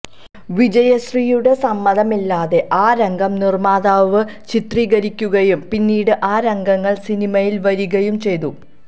വിജയശ്രീയുടെ സമ്മതമില്ലാതെ ആ രംഗം നിർമ്മാതാവ് ചിത്രീകരിക്കുകയും പിന്നീട് ആ രംഗങ്ങൾ സിനിമയിൽ വരികയും ചെയ്തു